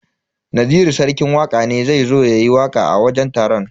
Naziru sarki waka ne zai zo yayi waka a wajen taron.